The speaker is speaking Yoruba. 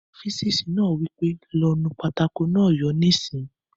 Olùkọ́ físìksì náà wí pé "lọ nu pátákó náà yóò níìsín!"